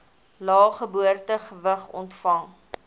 lae geboortegewig ontvang